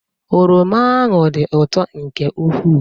Oroma ahụ dị ụtọ nke ukwuu.